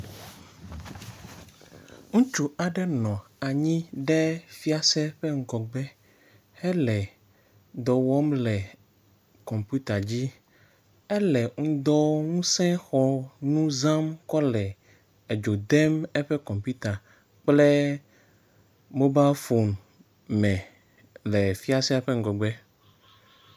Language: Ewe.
Ŋutsu aɖe nɔ anyi ɖe fiase ƒe ŋgɔgbe hele dɔ wɔm le kɔmpita dzi. Ele ŋdɔwɔŋusẽxɔ nu zam kɔle edzo dem eƒe kɔmpita kple mobafon me le fiasea ƒe ŋgɔgbe.